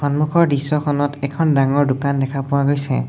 সন্মুখৰ দৃশ্যখনত এখন ডাঙৰ দোকান দেখা পোৱা গৈছে।